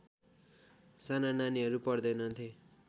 साना नानीहरू पढ्दैनथे